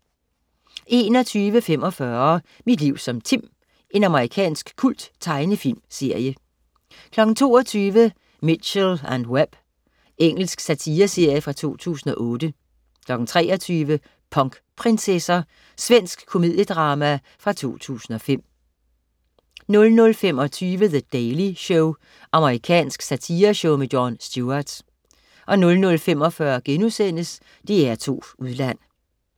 21.45 Mit liv som Tim. Amerikansk kulttegnefilmsserie 22.00 Mitchell & Webb. Engelsk satireserie fra 2008 23.00 Punkprinsesser. Svensk komediedrama fra 2005 00.25 The Daily Show. Amerikansk satireshow. Jon Stewart 00.45 DR2 Udland*